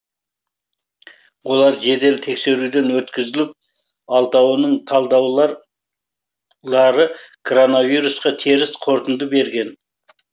олар жедел тексеруден өткізіліп алтауының талдаулар коронавирусқа теріс қорытынды берген